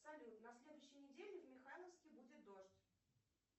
салют на следующей неделе в михайловске будет дождь